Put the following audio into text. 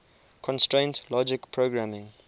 constraint logic programming